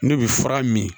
Ne bɛ fura min